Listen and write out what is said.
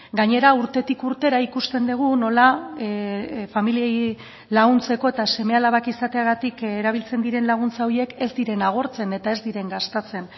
gainera urtetik urtera ikusten dugu nola familiei laguntzeko eta seme alabak izateagatik erabiltzen diren laguntza horiek ez diren agortzen eta ez diren gastatzen